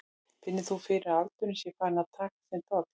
Finnur þú fyrir að aldurinn sé farinn að taka sinn toll?